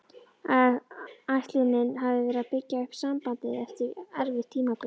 Ætlunin hafði verið að byggja upp sambandið eftir erfitt tímabil.